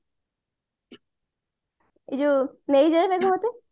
ଏଇ ଯୋଉ ନେଇ ଯାରେ ମେଘ ମତେ